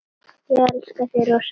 Ég elska þig rosa mikið.